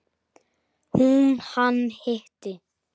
Hún: Hann hitti.